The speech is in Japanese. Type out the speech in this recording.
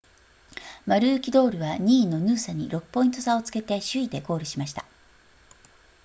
マルーキドールは2位のヌーサに6ポイント差をつけて首位でゴールしました